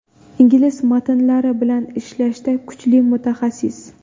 Ingliz matnlari bilan ishlashda kuchli mutaxassis.